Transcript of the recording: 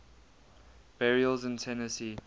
burials in tennessee